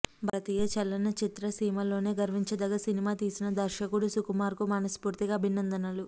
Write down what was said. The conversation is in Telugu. భారతీయ చలన చిత్రసీమలోనే గర్వించదగ్గ సినిమా తీసిన దర్శకుడు సుకుమార్కు మనస్ఫూర్తిగా అభినందనలు